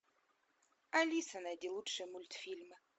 алиса найди лучший мультфильм